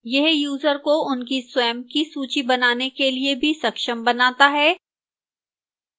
यह यूजर को उनकी स्वयं की सूची बनाने के लिए भी सक्षम बनाता है